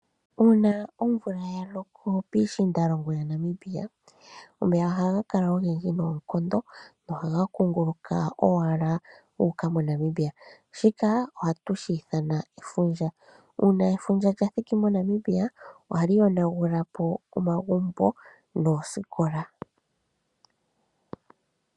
Uuna omvula ya loko piishiindalongo yaNamibia omeya ohaga kala ogendji noonkondo nohaga kunguluka owala guuka moNamibia shika ohatu shiithana efundja. Uuna efundja lya thiki moNamibia ohali yonagula po omagumbo noosikola.